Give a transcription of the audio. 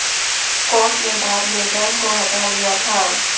court ने बाद में बैन को हटा लिया था